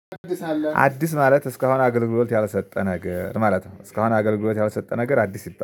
አዲስ አለ አዲስ ማለት እስካሁን አገልግሎት ያልሰጠ ነገር ማለት ነው። እስካሁን አገልግሎት ያልሰጠ ነገር አዲስ ይባላል